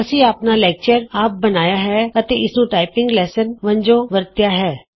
ਅਸੀਂ ਆਪਣਾ ਲੈਕਚਰ ਆਪ ਬਣਾਇਆ ਹੈ ਅਤੇ ਇਸਨੂੰ ਟਾਈਪਿੰਗ ਲੈਸਨ ਵਜੋਂ ਵਰਤਿਆ ਹੈ